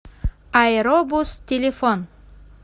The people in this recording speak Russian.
аэробус телефон